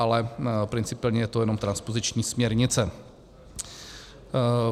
Ale principiálně je to jenom transpoziční směrnice.